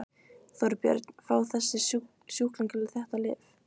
Þorbjörn: Fá þessir sjúklingar þetta lyf?